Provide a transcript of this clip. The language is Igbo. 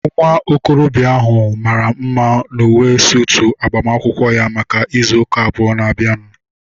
Nwa okorobịa ahu mara mma n'uwe suutu agbamakwụkwọ ya maka ịzụ ụka abụọ na-abịanụ